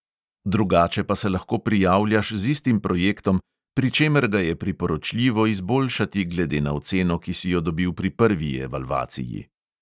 Drugače pa se lahko prijavljaš z istim projektom, pri čemer ga je priporočljivo izboljšati glede na oceno, ki si jo dobil pri prvi evalvaciji.